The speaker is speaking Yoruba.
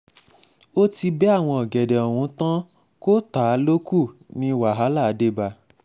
ó ti bẹ àwọn ọ̀gẹ̀dẹ̀ ọ̀hún tán kó tá a lọ kù ú tí wàhálà fi dé bá a